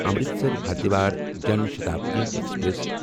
Amritsar Haridwar Jan Shatabdi express